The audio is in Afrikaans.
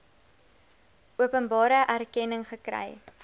openbare erkenning gekry